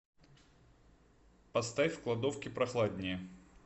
поставь в кладовке прохладнее